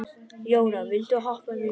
Jóna, viltu hoppa með mér?